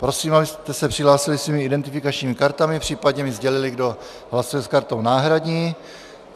Prosím, abyste se přihlásili svými identifikačními kartami, případně mi sdělili, kdo hlasuje s kartou náhradní.